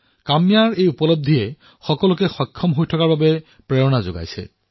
কাম্যাৰ উপলব্ধিয়ে সকলোকে ফিট হৈ থকাৰ বাবেও অনুপ্ৰেৰণা দিয়ে